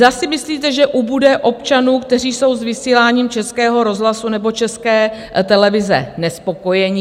Zda si myslíte, že ubude občanů, kteří jsou s vysíláním Českého rozhlasu nebo České televize nespokojeni?